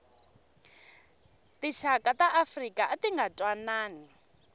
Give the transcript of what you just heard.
tixaka ta afrika atinga ntwanani